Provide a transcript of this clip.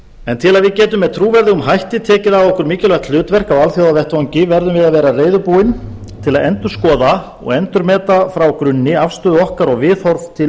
en til að við getum með trúverðugum hætti tekið að okkur mikilvægt hlutverk á alþjóðavettvangi verðum við að vera reiðubúin til að endurskoða og endurmeta frá grunni afstöðu okkar og viðhorf til